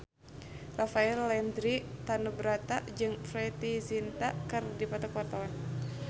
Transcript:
Rafael Landry Tanubrata jeung Preity Zinta keur dipoto ku wartawan